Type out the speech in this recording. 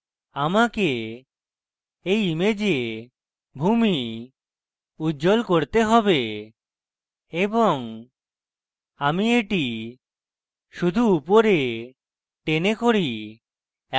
আমাকে এই image ভূমি উজ্জল করতে have এবং আমি এটি শুধু উপরে টেনে করি